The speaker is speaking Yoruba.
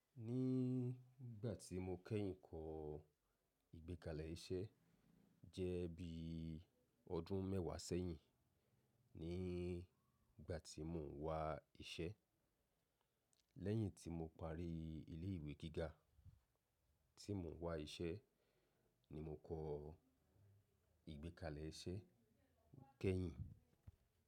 Ní ìgbà tí mo kẹ́yìn kọ́ ìgbékalẹ̀ iṣẹ́ jẹ́ bí ọdún mẹ́wàá sẹ́yìn, ní ìgbà tí mo ń wá iṣẹ́ lẹ́yìn tí mo parí ilé ìwé gíga, tí mo wá iṣẹ́ ni mo kọ ìgbékalẹ̀ iṣẹ́ kẹ́yìn.